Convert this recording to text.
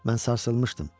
Mən sarsılmışdım.